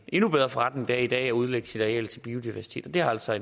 endnu bedre forretning end i dag at udlægge sit areal til biodiversitet det har altså